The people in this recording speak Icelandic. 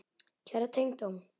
Kæra tengdó.